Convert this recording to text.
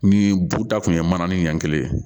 Ni bu ta kun ye mana ni ɲan kelen ye